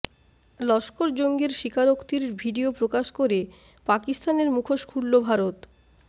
লস্কর জঙ্গির স্বীকারোক্তির ভিডিয়ো প্রকাশ করে পাকিস্তানের মুখোশ খুলল ভারত